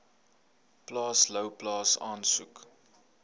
plaas louwplaas asook